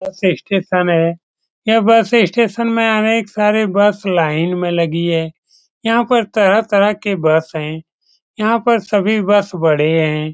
बस स्टेशन है यह बस स्टेशन में अनेक सारे बस लाइन में लगी है यहाँ पर तरह-तरह के बस है यहाँ पर सभी बस बड़े हैं।